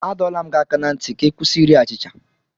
Adọla m gị aka ná ntị ka ị kwụsị iri achịcha!